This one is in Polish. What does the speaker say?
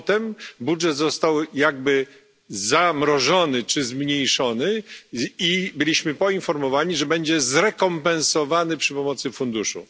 Potem budżet został jakby zamrożony czy zmniejszony i zostaliśmy poinformowani, że będzie zrekompensowany przy pomocy funduszu.